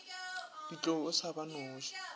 ditlou o sa ba noše